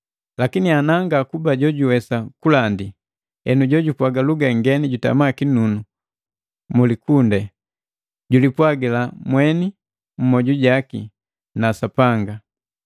Lakini ana ngakuba jojuwesa kulandi, enu jojupwaga luga ngeni jutama kinunu mumaketanganu, julipwagila mweni mumojujaki na Sapanga.